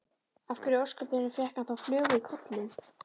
Af hverju í ósköpunum fékk hann þá flugu í kollinn?